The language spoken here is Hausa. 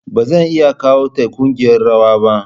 Ba zan iya kawo ta ƙungiyar rawa ba.